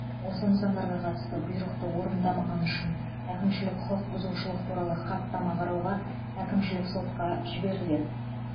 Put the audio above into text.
осы нысандарға қатысты бұйрықты орындамағаны үшін әкімшілік құқық бұзушылық туралы хаттама қарауға әкімшілік сотқа жіберіледі